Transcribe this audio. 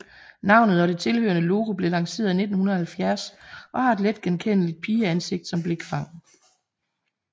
Navnet og det tilhørende logo blev lanceret i 1970 og har et letgenkendeligt pigeansigt som blikfang